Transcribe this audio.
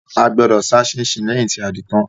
A gbọdọ̀ sá síinsín lẹ́yìn tí a ti din tán